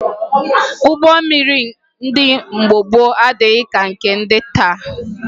Ụgbọ mmiri ndị dị mgbe gboo adịghị ka ndị nke dị taa